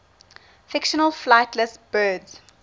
fictional flightless birds